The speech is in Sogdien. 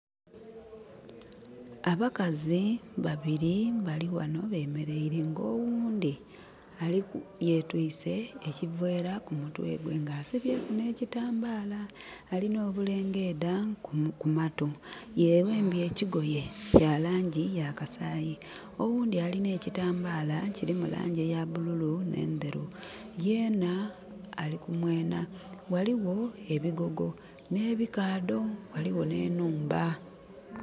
Abakazi babiri baliwano bemereire nga owundi yetwise ekivera ku mutwe gwe nga asibye ku ne kitambala. Alina obulengedda ku mattu. Ye wembye ekigoye kya langi ya kasayi. Owundi alina kitambala kirimu langi eya bululu ne nderu. Yeena alikumwena. Waliwo ebigogo ne bikaadho, waliwo ne nhumba.